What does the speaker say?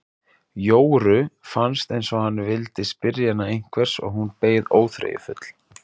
Jóru fannst eins og hann vildi spyrja hana einhvers og hún beið óþreyjufull.